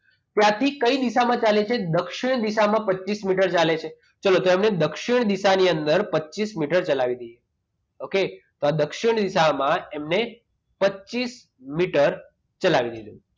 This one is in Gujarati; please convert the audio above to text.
ક્યાંથી કઈ દિશામાં ચાલે છે દક્ષિણ દિશામાં પચીસ મીટર ચાલે છે ચલો તો દક્ષિણ દિશાની અંદર પચીસ મીટર ચલાવી દઈએ okay તો આ દક્ષિણ દિશામાં એમને પચીસ મીટર ચલાવી દઈએ.